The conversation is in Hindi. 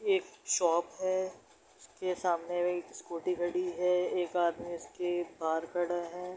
एक शॉप है उसके सामने में स्कूटी खड़ी है एक आदमी उसके बाहर खड़ा है।